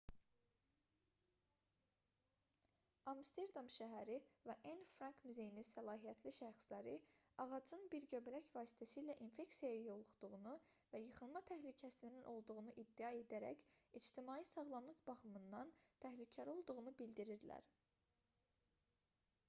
amsterdam şəhəri və anne frank muzeyinin səlahiyyətli şəxsləri ağacın bir göbələk vasitəsilə infeksiyaya yoluxduğunu və yıxılma təhlükəsinin olduğunu iddia edərək ictimai sağlamlıq baxımından təhlükəli olduğunu bildirirlər